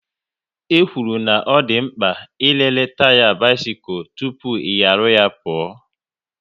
E kwuru na ọ dị mkpa ị lere taya bisikul tụpụ ị nyaru ya pụọ